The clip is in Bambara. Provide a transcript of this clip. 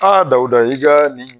Dawuda i ka nin